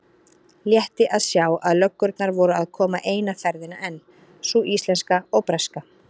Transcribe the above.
Létti að sjá að löggurnar voru að koma eina ferðina enn, sú íslenska og breska.